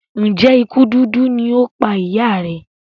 Njé ikú dúdú lọ pá ìyá rẹ?